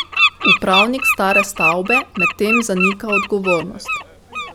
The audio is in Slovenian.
Upravnik stare stavbe medtem zanika odgovornost.